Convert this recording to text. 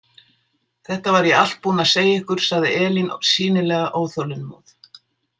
Þetta var ég allt búin að segja ykkur, sagði Elín sýnilega óþolinmóð.